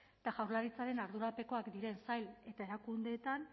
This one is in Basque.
eta jaurlaritzaren ardurapekoak diren sail eta erakundeetan